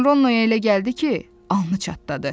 Lakin Ronnoya elə gəldi ki, alnı çatladı.